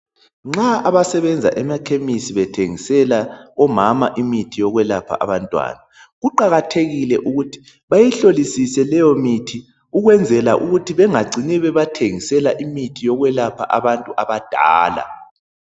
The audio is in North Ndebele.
Nxa abasebenza emakhemesi bethengisela omama imithi yakwelapha abantwana kuqakathekile ukuthi bayihlolisise leyo mithi ukwenzela ukuthi bangacini bebapha imithi eyokulapha abantu abadala.